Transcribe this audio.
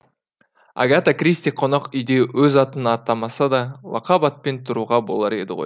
агата кристи қонақүйде өз атын атамаса да лақап атпен тұруға болар еді ғой